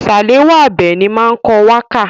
Sàláwà Àbẹ̀ní máa ń kọ wákà.